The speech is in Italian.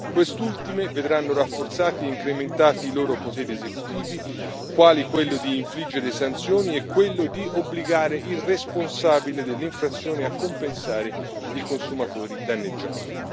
Quest'ultime vedranno rafforzati e incrementati i loro poteri esecutivi, quali quello di infliggere sanzioni e quello di obbligare il responsabile dell'inflazione a compensare i consumatori danneggiati.